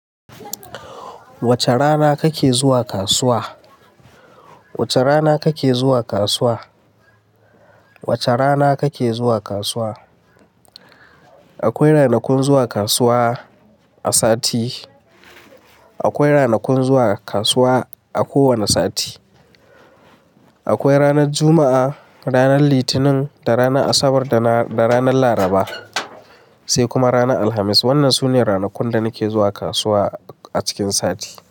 Wace rana kake zuwa kasuwa? Wace rana kake zuwa kasuwa? Wace rana kake zuwa kasuwa? Akwai ranakun zuwa kasuwa a sati. Akwai ranakun zuwa kasuwa a kowane sati. Akwai ranar Juma'a, ranar Litinin da ranar Asabar da ranar Laraba, sai kuma ranar Alhamis. Wannan sune ranakun da nake zuwa kasuwa a cikin sati.